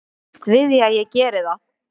Ég býst við að ég geri það.